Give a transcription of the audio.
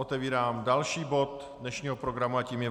Otevírám další bod dnešního programu a tím je